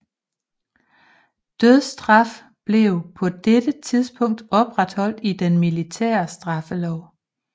Dødsstraf blev på dette tidspunkt opretholdt i den militære straffelov